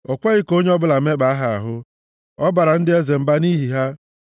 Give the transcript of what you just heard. O kweghị ka onye ọbụla mekpaa ha ahụ; ọ baara ndị eze mba nʼihi ha;